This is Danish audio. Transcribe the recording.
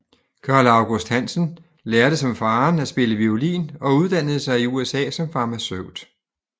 Carl August Hansen lærte som faderen at spille violin og uddannede sig i USA som farmaceut